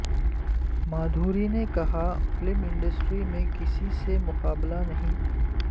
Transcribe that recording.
مادھوری نے کہا film industry میں کسی سے مقابلہ نہیں